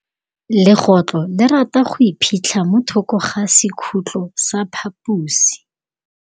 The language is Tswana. Legôtlô le rata go iphitlha mo thokô ga sekhutlo sa phaposi.